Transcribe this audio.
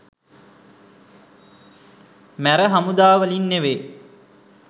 මැර හමුදා වලින් නෙමෙයි